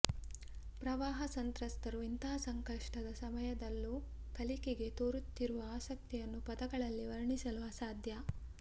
ಪ್ರವಾಹ ಸಂತ್ರಸ್ತರು ಇಂತಹ ಸಂಕಷ್ಟದ ಸಮಯದಲ್ಲೂ ಕಲಿಕೆಗೆ ತೋರುತ್ತಿರುವ ಆಸಕ್ತಿಯನ್ನು ಪದಗಳಲ್ಲಿ ವರ್ಣಿಸಲು ಅಸಾಧ್ಯ